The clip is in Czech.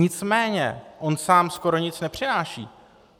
Nicméně on sám skoro nic nepřináší.